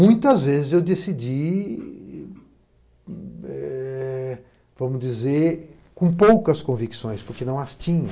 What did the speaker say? Muitas vezes eu decidi, vamos dizer, com poucas convicções, porque não as tinha.